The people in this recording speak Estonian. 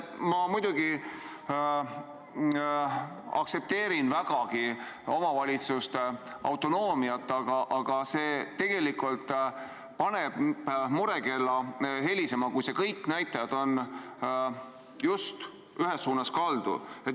Ma muidugi aktsepteerin vägagi omavalitsuste autonoomiat, aga see tegelikult paneb murekella helisema, kui kõik need näitajad on ühes suunas kaldu.